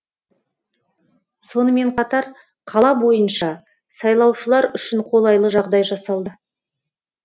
сонымен қатар қала бойынша сайлаушылар үшін қолайлы жағдай жасалды